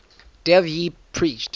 dev ji preached